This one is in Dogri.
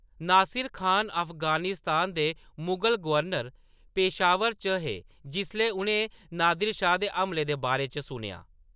नासिर खान, अफगानिस्तान दे मुगल गवर्नर, पेशावर च हे जिसलै उʼनें नादिर शाह दे हमले दे बारे च सुनेआ।